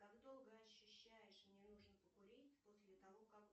как долго ощущаешь мне нужно покурить после того как